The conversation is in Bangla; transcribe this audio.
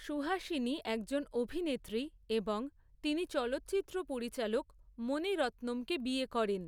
সুহাসিনী একজন অভিনেত্রী, এবং তিনি চলচ্চিত্র পরিচালক মণি রত্নমকে বিয়ে করেন।